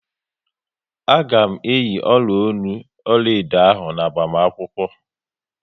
A ga m eyi ọla ọnụ ọlaedo ahụ n'agbamakwukwo